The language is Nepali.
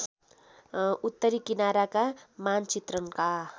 उत्तरी किनाराका मानचित्रणका